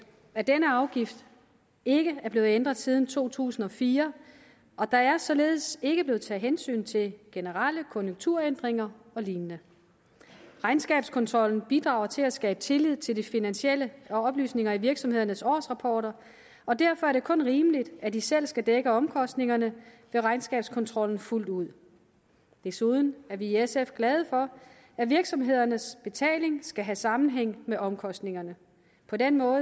at denne afgift ikke er blevet ændret siden to tusind og fire og der er således ikke blevet taget hensyn til generelle konjunkturændringer og lignende regnskabskontrollen bidrager til at skabe tillid til det finansielle og oplysninger i virksomhedernes årsrapporter og derfor er det kun rimeligt at de selv skal dække omkostningerne ved regnskabskontrollen fuldt ud desuden er vi i sf glade for at virksomhedernes betaling skal have sammenhæng med omkostningerne på den måde